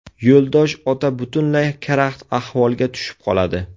Yo‘ldosh ota butunlay karaxt ahvolga tushib qoladi.